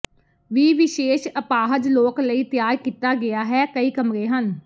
ਵੀ ਵਿਸ਼ੇਸ਼ ਅਪਾਹਜ ਲੋਕ ਲਈ ਤਿਆਰ ਕੀਤਾ ਗਿਆ ਹੈ ਕਈ ਕਮਰੇ ਹਨ